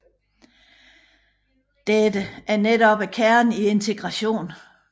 Dette er netop kernen i integration